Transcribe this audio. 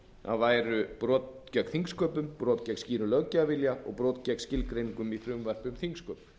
að væru brot gegn þingsköpum brot gegn skýrum löggjafarvilja og brot gegn skilgreiningum í frumvarpi um þingsköp